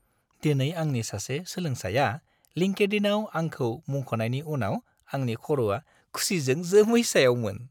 दिनै आंनि सासे सोलोंसाया लिंक्डइनआव आंखौ मुंख'नायनि उनाव आंनि खर'आ खुसिजों जोमै सायावमोन।